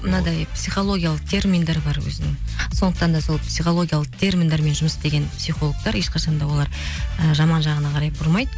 мынадай психологиялық терминдер бар өзінің сондықтан да сол психологиялық терминдермен жұмыс істеген психологтар ешқашан да олар і жаман жағына қарай бұрмайды